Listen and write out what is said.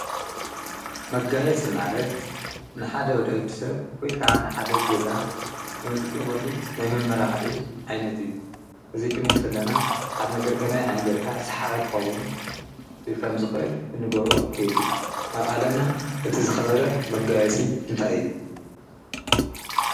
መጋየፂ ማለት ንሓደ ወድሰብ ወይ ከዓ ንሓደ ገዛ እንጥቀመሉ ናይ መማላክዒ ዓይነት እዩ። እዙይ ክንብል ከለና ሓደ ነገር ከመይ ገይርካ ስሓባይ ኽከውን ከምዝክእል እንገብሮም ከይዲ እዩ። አብ ዓለምና እቲ ዝኸበረ መጋየፂ እንታይ እዩ?